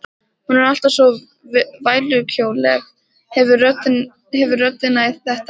Hún er alltaf svo vælukjóaleg, hefur röddina í þetta.